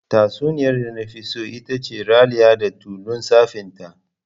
Tatsuniyar da nafi so itace "Raliya da tulun tsafinta".